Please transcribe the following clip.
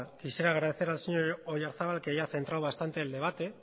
agradecer al señor oyarzabal que haya centrado bastante el debate